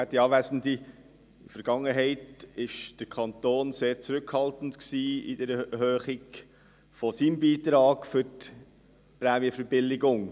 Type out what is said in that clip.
In der Vergangenheit war der Kanton sehr zurückhaltend in der Erhöhung seines Beitrags für die Prämienverbilligung.